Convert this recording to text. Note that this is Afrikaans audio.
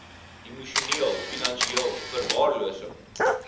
emosioneel finansieel verwaarlosing